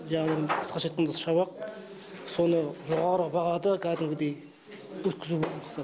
жаңағы қысқаша айтқанда шабақ соны жоғарғы бағада кәдімгідей өткізу ғой мақсат